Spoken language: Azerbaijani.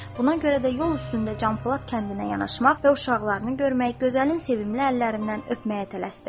Buna görə də yol üstündə Canpolad kəndinə yanaşmaq və uşaqlarını görmək, gözəlin sevimli əllərindən öpməyə tələsdi.